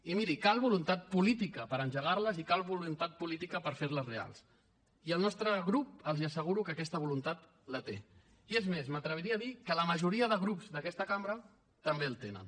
i miri cal voluntat política per engegar les i cal voluntat política per fer les reals i el nostre grup els asseguro que aquesta voluntat la té i és més m’atreviria a dir que la majoria de grups d’aquesta cambra també la tenen